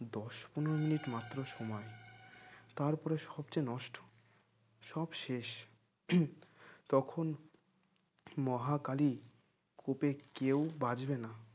দশ পনের মিনিট মাত্র সময় তারপরে সব যে নষ্ট সব শেষ তখন মহাকালী কোপে কেউ বাঁচবে না